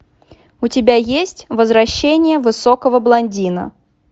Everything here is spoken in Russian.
у тебя есть возвращение высокого блондина